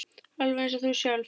Alveg eins og þú sjálf.